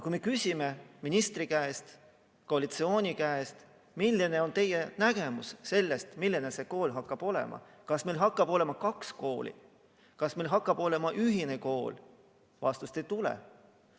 Kui me küsime ministri või koalitsiooni käest, milline on teie nägemus sellest, milline see kool hakkab olema – kas meil hakkab olema kaks kooli, kas meil hakkab olema ühine kool –, siis vastust ei tule.